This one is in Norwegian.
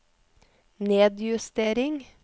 nedjustering